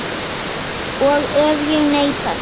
Og ef ég neita því?